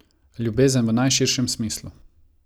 Ljubezen v najširšem smislu.